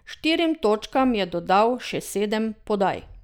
Štirim točkam je dodal še sedem podaj.